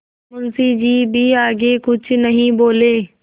मुंशी जी भी आगे कुछ नहीं बोले